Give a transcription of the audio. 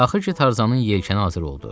Axır ki, Tarzanın yelkəni hazır oldu.